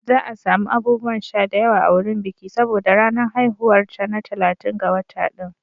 Za a sami abubuwan sha da yawa a wurin biki saboda ranar haihuwar ta na talatin ga wata ɗin.